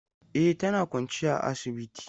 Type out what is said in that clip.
E, tana kwance a asibiti.